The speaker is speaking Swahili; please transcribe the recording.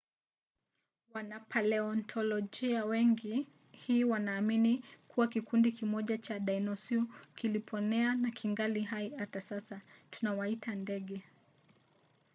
wanapaleontolojia wengi leo hii wanaamini kuwa kikundi kimoja cha dinosau kiliponea na kingali hai hata sasa. tunawaita ndege